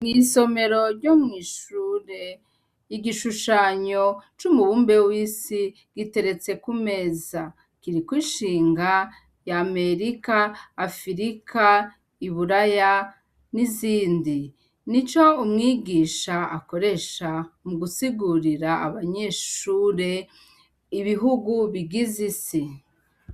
Mw'isomero ryo mwishure igishushanyo c'umubumbe w'isi giteretse kumeza kiriko ishinga ya amerika afirika iburaya n'izindi ni co umwigisha akoresha mu gusigurira abanyeshure ibihugu bigize isi.